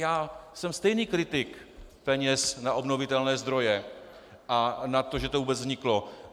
Já jsem stejný kritik peněz na obnovitelné zdroje a na to, že to vůbec vzniklo.